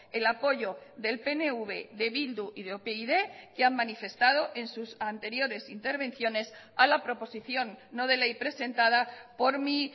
el apoyo del pnv de bildu y de upyd que han manifestado en sus anteriores intervenciones a la proposición no de ley presentada por mi